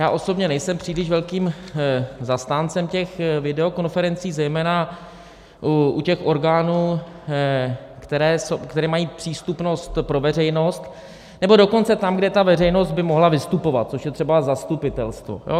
Já osobně nejsem příliš velkým zastáncem těch videokonferencí, zejména u těch orgánů, které mají přístupnost pro veřejnost, nebo dokonce tam, kde ta veřejnost by mohla vystupovat, což je třeba zastupitelstvo.